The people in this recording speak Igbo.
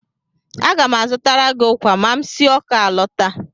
Aga m azụtara gị ụkwa ma m si Awka alọta.